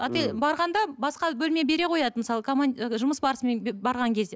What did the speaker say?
барғанда басқа бөлме бере қояды мысалы жұмыс барысымен барған кезде